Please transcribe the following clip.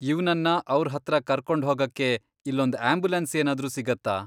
ಇವ್ನನ್ನ ಅವ್ರ್ ಹತ್ರ ಕರ್ಕೊಂಡ್ ಹೋಗಕ್ಕೆ ಇಲ್ಲೊಂದ್ ಆಂಬ್ಯುಲೆನ್ಸ್ ಏನಾದ್ರೂ ಸಿಗತ್ತಾ?